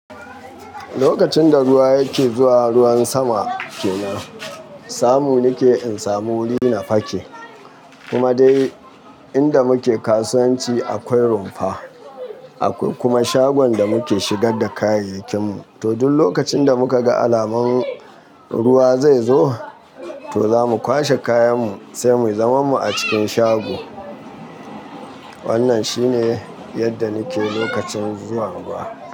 Lokacin da ruwa yake zuwa, ruwan sama kenan. Zamu nike in samu wuri na fake. Kuma dai inda muke kasuwanci akwai rumfa. Akwai kuma shagon da muke shigar da kayayyakin mu. To duk lokacin da muka ga alaman ruwa zai zo, to za mu kwashe kayan mu sai mu zaman mu a cikin shago. Wannan shine yadda nike lokacin zuwan ruwa.